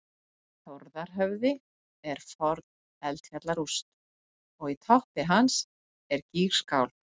þórðarhöfði er forn eldfjallarúst og í toppi hans er gígskál